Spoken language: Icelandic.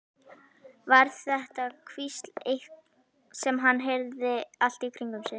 Var þetta hvísl sem hann heyrði allt í kringum sig?